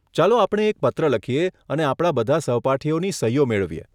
ચાલો આપણે એક પત્ર લખીએ અને આપણા બધા સહપાઠીઓની સહીઓ મેળવીએ.